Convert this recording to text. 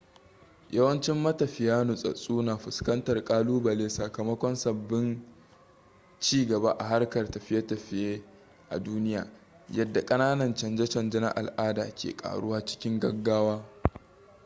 yawancin matafiya nutsatststsu na fuskantar kalubale sakamakon sabbin ci gaba a harkar tafiye-tafiye a duniya yadda kananan canje-canje na al'ada ke karuwa cikin gaggawa